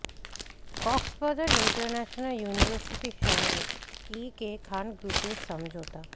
Cox's Bazar international ইউনিভার্সিটির সঙ্গে A K Khan গ্রুপের সমঝোতা